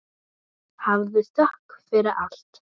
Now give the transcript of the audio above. Hafðu þökk fyrir allt.